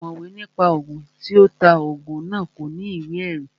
Ọ̀mọ̀wé ní pa Ògùn, tí ó ta Ògùn náà ò ní ìwé ẹ̀rí